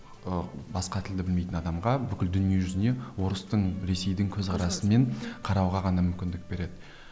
ыыы басқа тілді білмейтін адамға бүкіл дүние жүзіне орыстың ресейдің көзқарасымен қарауға ғана мүмкіндік береді